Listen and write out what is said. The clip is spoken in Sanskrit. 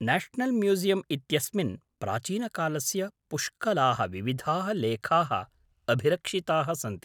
न्याशनल् म्यूसियम् इत्यस्मिन् प्राचीनकालस्य पुष्कलाः विविधाः लेखाः अभिरक्षिताः सन्ति।